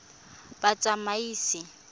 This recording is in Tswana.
batsamaisi